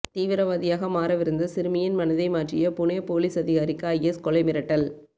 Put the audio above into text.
தீவிரவாதியாக மாறவிருந்த சிறுமியின் மனதை மாற்றிய புனே போலீஸ் அதிகாரிக்கு ஐஎஸ் கொலை மிரட்டல்